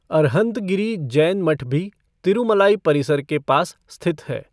अरहंतगिरी जैन मठ भी तिरूमलाई परिसर के पास स्थित है।